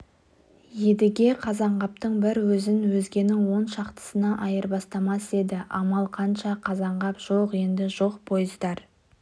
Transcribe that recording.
едіге қазанғаптың бір өзін өзгенің он шақтысына айырбастамас еді амал қанша қазанғап жоқ енді жоқ пойыздар